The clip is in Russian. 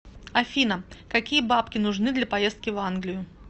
афина какие бабки нужны для поездки в англию